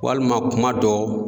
Walima kuma dɔ